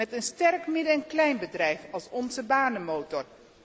Met een sterk midden en kleinbedrijf als onze banenmotor.